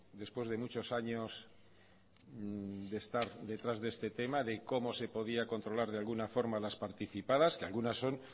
después de muchos años de estar detrás de este tema de cómo se podía controlar de alguna forma las participadas que algunas son